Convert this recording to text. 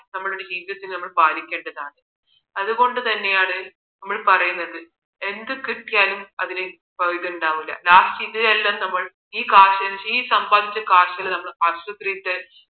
നമ്മുടെ ജീവിതത്തിൽ നമ്മൾ പാലിക്കേണ്ടതാണ് അതുകൊണ്ടാണ് നമ്മൾ പറയുന്നത് എന്ത് കിട്ടിയാലും അതിന് ഇതുണ്ടാവില്ല last ഇതിനെയെല്ലാം നമ്മൾ ഈ കാശിന് ഈ സമ്പാദിച്ച കാശിനെ നമ്മൾ ആശുപത്രിയിൽ